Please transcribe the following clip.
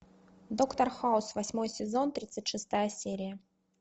доктор хаус восьмой сезон тридцать шестая серия